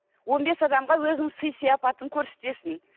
он бес адамға өзіңнің сый сияпатыңды көрсетесің